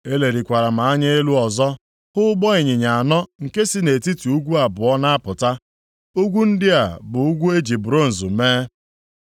Elelikwara m anya elu ọzọ hụ ụgbọ ịnyịnya anọ nke si nʼetiti ugwu abụọ na-apụta. Ugwu ndị a bụ ugwu e ji bronz mee.